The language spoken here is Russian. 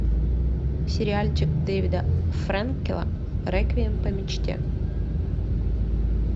сериальчик дэвида фрэнкела реквием по мечте